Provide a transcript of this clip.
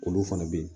Olu fana bɛ yen